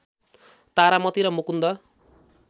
तारामती र मुकुन्द